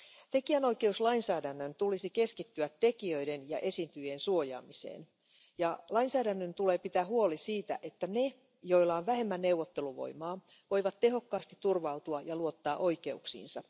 Tekijänoikeuslainsäädännön tulisi keskittyä tekijöiden ja esiintyjien suojaamiseen ja lainsäädännön tulee pitää huoli siitä, että ne, joilla on vähemmän neuvotteluvoimaa, voivat tehokkaasti turvautua ja luottaa oikeuksiinsa.